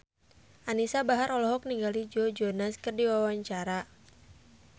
Anisa Bahar olohok ningali Joe Jonas keur diwawancara